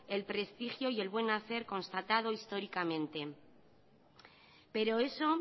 el prestigio y el buen hacer constatado históricamente pero eso